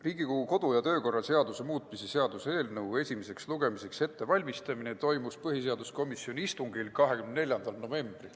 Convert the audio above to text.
Riigikogu kodu- ja töökorra seaduse muutmise seaduse eelnõu esimeseks lugemiseks ettevalmistamine toimus põhiseaduskomisjoni istungil 24. novembril.